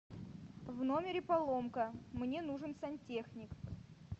в номере поломка мне нужен сантехник